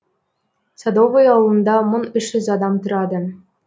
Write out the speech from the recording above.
садовый ауылында мың үш жүз адам тұрады